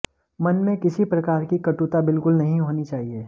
मन में किसी प्रकार की कटुता बिल्कुल नहीं होनी चाहिए